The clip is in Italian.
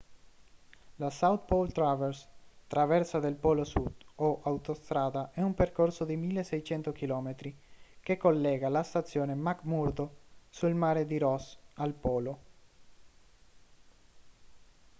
la south pole traverse traversa del polo sud o autostrada è un percorso di 1.600 km che collega la stazione mcmurdo sul mare di ross al polo